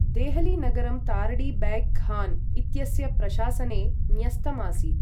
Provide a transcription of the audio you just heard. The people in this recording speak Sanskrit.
देहली नगरं तारडी बैग् खान् इत्यस्य प्रशासने न्यस्तम् आसीत्।